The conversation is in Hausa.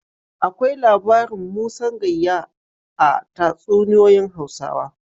Akwai labarin Musan Gayya a tatsuniyoyin Hausawa.